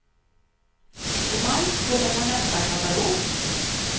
I maj kommer vår nästa katalog.